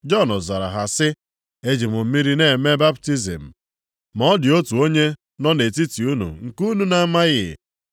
Jọn zara ha sị, “Eji m mmiri na-eme baptizim, ma ọ dị otu onye nọ nʼetiti unu nke unu na-amaghị.